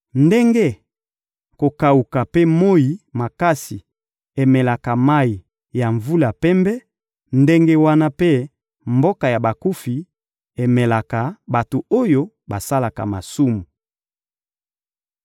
Ndenge kokawuka mpe moyi makasi emelaka mayi ya mvula pembe, ndenge wana mpe mboka ya bakufi emelaka bato oyo basalaka masumu.